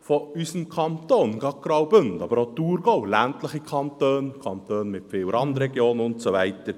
Gerade Graubünden, aber auch der Thurgau sind ländliche Kantone, Kantone mit viel Randregionen und so weiter.